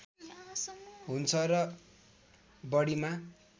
हुन्छ र बढीमा